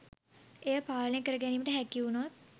එය පාලනය කර ගැනීමට හැකි උනොත්